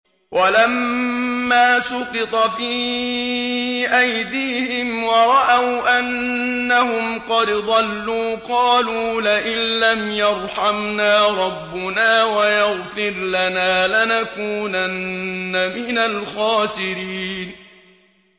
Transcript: وَلَمَّا سُقِطَ فِي أَيْدِيهِمْ وَرَأَوْا أَنَّهُمْ قَدْ ضَلُّوا قَالُوا لَئِن لَّمْ يَرْحَمْنَا رَبُّنَا وَيَغْفِرْ لَنَا لَنَكُونَنَّ مِنَ الْخَاسِرِينَ